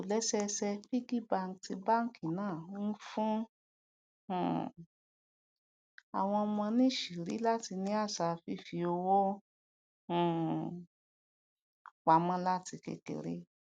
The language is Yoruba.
ìtòlésẹẹsẹ piggy bank ti báńkì náà ń fún um àwọn ọmọ níṣìírí láti ní àṣà fífi owó um pa mó láti kékeré